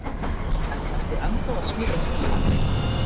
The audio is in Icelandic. En ertu ennþá að smíða skip?